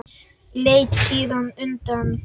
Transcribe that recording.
Leit síðan undan.